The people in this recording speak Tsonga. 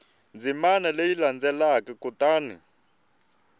ndzimana leyi landzelaka kutani u